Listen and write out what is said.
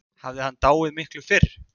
Hafði hann dáið miklu fyrr?